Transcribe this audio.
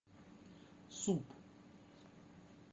суп